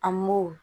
A m'o